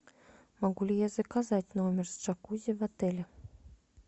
могу ли я заказать номер с джакузи в отеле